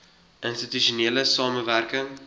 institusionele samewerk ing